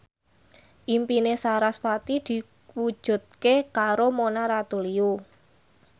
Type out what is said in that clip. impine sarasvati diwujudke karo Mona Ratuliu